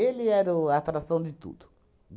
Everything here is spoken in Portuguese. era o a atração de tudo.